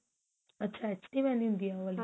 ਅੱਛਾ HD mehendi ਹੁੰਦੀ ਏ ਉਹ ਵਾਲੀ